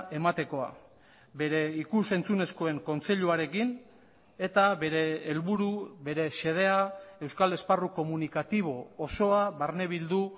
ematekoa bere ikus entzunezkoen kontseiluarekin eta bere helburu bere xedea euskal esparru komunikatibo osoa barne bildu